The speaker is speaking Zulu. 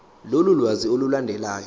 lolu lwazi olulandelayo